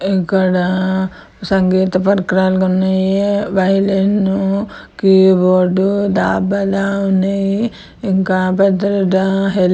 ఇక్కాడ సంగీత పరికరాలు ఉన్నాయి వయోలిన్ కీబోర్డు దబాల ఉన్నాయి. ఇంక --